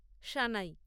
শানাই